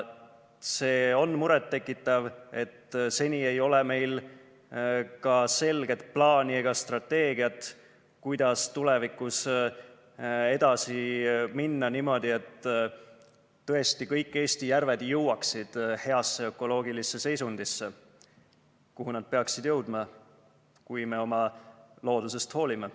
See on muret tekitav, et seni ei ole meil ka selget plaani ega strateegiat, kuidas tulevikus edasi minna niimoodi, et tõesti kõik Eesti järved jõuaksid heasse ökoloogilisse seisundisse, kuhu nad peaksid jõudma, kui me oma loodusest hoolime.